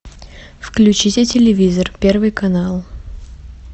включите телевизор первый канал